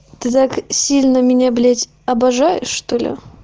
ты так сильно меня блять обожаешь что ли